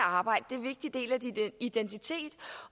arbejde det er en vigtig del af din identitet